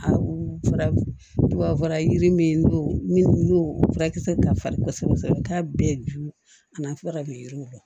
A u fara tubabu fura yiri min n'o minnu n'o furakisɛ ka farin kosɛbɛ kosɛbɛ i t'a bɛɛ ju a fɔ ka ɲɛ yiri kɔrɔ